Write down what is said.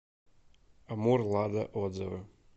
амур лада отзывы